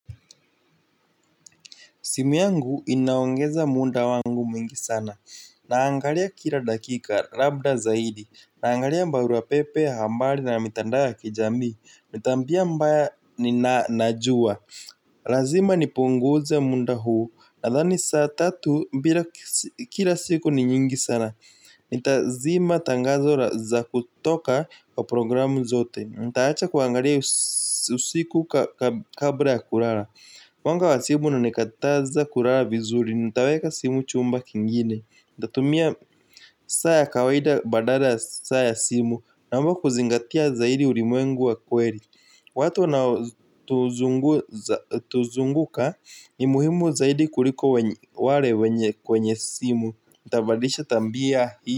Simu yangu inaongeza muda wangu mwingi sana. Naangalia kila dakika, rabda zaidi. Naangalia mbaruwa pepe, hambari na mitandao ya kijambi. Nitambia mbaya nina najua. Lazima ni punguze munda huu. Nadhani saa tatu, kila siku ni nyingi sana. Nitazima tangazo za kutoka kwa programu zote. Nitaacha kuangalia usiku kabra ya kurara. Mwanga wa simu unanikataza kurara vizuri, nitaweka simu chumba kingine. Nitatumia saa ya kawaida badara saa ya simu. Naomba kuzingatia zaidi ulimwengu wa kweri. Watu nao tuzunguka, ni muhimu zaidi kuliko ware kwenye simu. Ntabadilisha tambia hii.